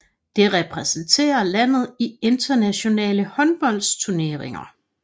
Det repræsenterer landet i internationale håndboldturneringer